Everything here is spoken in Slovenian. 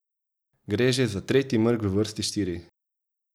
Gre že za tretji mrk v vrsti štirih.